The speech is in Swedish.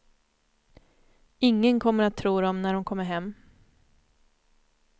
Ingen kommer att tro dem när de kommer hem.